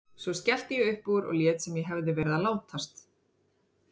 Svo skellti ég upp úr og lét sem ég hefði verið að látast.